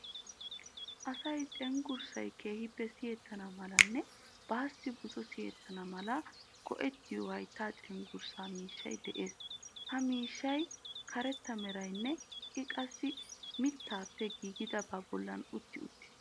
Asay cenggurssay keehippe siyettana malanne baassi buzo siyettana mala go'ettiyo hayttaa cenggurssaa miishshay de"ees. Ha miishshaassi karetta merayinne I qassi miittaappe giigidabaa bolli utti uttiis.